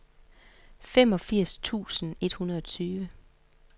femogfirs tusind og enogtyve